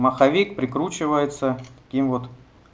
маховик прикручивается таким вот